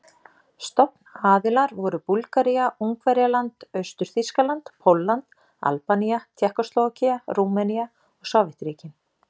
Stofnaðilar voru Búlgaría, Ungverjaland, Austur-Þýskaland, Pólland, Albanía, Tékkóslóvakía, Rúmenía og Sovétríkin.